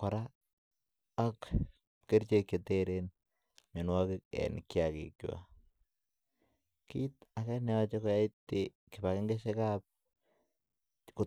kora ak kerichek Che teren mianwogik en kiagik kit age ne yoche koyai kibagengeisiekab